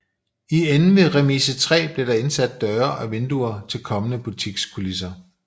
I enden ved Remise 3 blev der indsat døre og vinduer til kommende butikskulisser